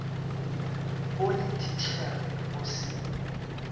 o le thitšhere o se